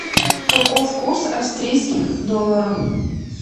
каков курс австрийских долларов